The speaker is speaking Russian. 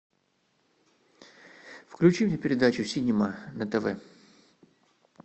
включи мне передачу синема на тв